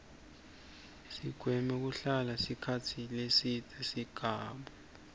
sigweme kuhlala sikhatsi lesibze singabu